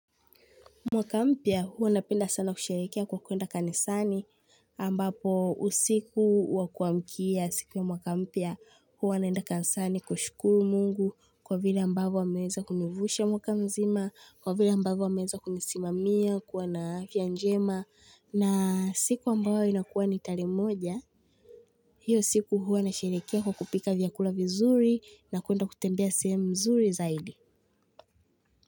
Mwaka mpya huwa napenda sana kusherehekea kwa kuenda kanisani ambapo usiku wa kuamkia siku ya mwaka mpya huwa naenda kanisani kushukuru mungu kwa vile ambavyo ameweza kunivusha mwaka mzima kwa vile ambavyo ameweza kunisimamia kuwa na afya njema na siku ambayo inakuwa ni tarehe moja hiyo siku huwa nasherehekea kwa kupika vyakula vizuri na kuenda kutembea sehemu mzuri zaidi.